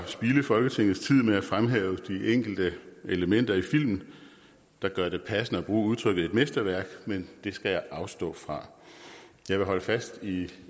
spilde folketingets tid med at fremhæve de enkelte elementer i filmen der gør det passende at bruge udtrykket et mesterværk men det skal jeg afstå fra jeg vil holde fast i